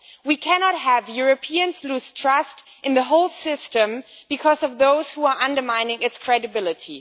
We cannot have Europeans losing trust in the whole system because of those who are undermining its credibility.